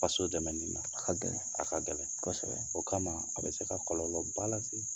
Faso dɛmɛ nina, A ka gɛlɛn; A ka gɛlɛn kosɛbɛ; o kama a bɛ se ka kɔlɔlɔ ba la se